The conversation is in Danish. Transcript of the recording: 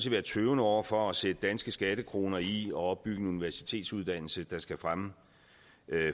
være tøvende over for at sætte danske skattekroner i at opbygge en universitetsuddannelse der skal fremme